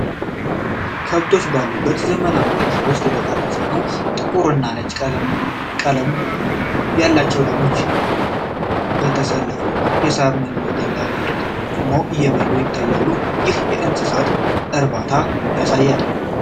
ከብቶች ባሉበት ዘመናዊ እርሻ ውስጥ የተቀረጸ ነው። ጥቁር እና ነጭ ቀለም ያላቸው ላሞች በተሰለፈ የሳር መኖ ገንዳ ፊት ቆመው እየበሉ ይታያሉ፤ ይህም የእንስሳት እርባታን ያሳያል።